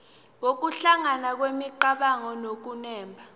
nokuhlangana kwemicabango nokunemba